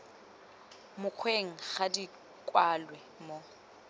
mokgweng ga di kwalwe mo